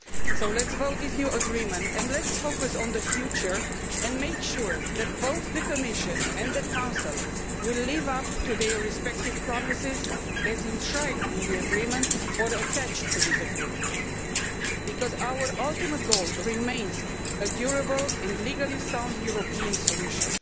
So let us vote on this new agreement and let us focus on the future and make sure that both the Commission and the Council live up to their respective promises as enshrined in the agreement or attached to the agreement, because our ultimate goal remains a durable and legally sound European solution.